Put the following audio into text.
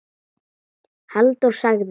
Halldór sagði: